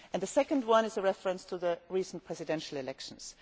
The second is the reference to the recent presidential elections.